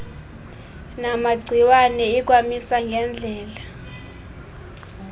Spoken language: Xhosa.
namagciwane ikwamisa ngedlela